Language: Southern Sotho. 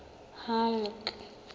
halleck